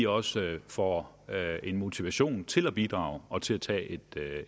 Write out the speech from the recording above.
også får en motivation til at bidrage og til at tage et